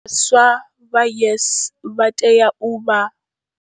Vhaswa vha YES vha tea u vha.